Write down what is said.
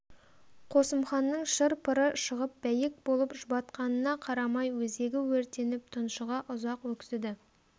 қосымханның шыр-пыры шығып бәйек болып жұбатқанына қарамай өзегі өртеніп тұншыға ұзақ өксіді